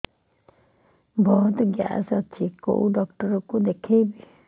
ବହୁତ ଗ୍ୟାସ ହଉଛି କୋଉ ଡକ୍ଟର କୁ ଦେଖେଇବି